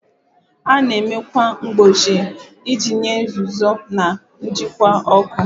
A na-eme ákwà mgbochi iji nye nzuzo na njikwa ọkụ.